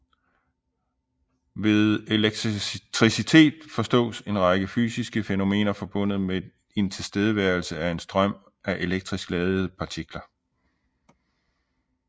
Ved elektricitet forstås en række fysiske fænomener forbundet ved en tilstedeværelse og en strøm af elektrisk ladede partikler